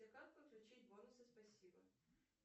как подключить бонусы спасибо